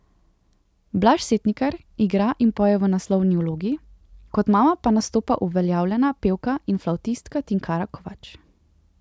Blaž Setnikar igra in poje v naslovni vlogi, kot mama pa nastopa uveljavljena pevka in flavtistka Tinkara Kovač.